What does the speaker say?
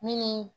Mini